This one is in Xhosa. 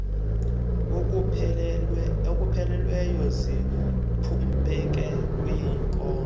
okupheleleyo ziphumpeke kwiinkozo